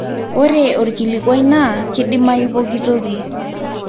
ore orkilikwai naa kidimayu pokitoki